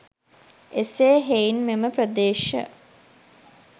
එසේ හෙයින් මෙම ප්‍රදේශ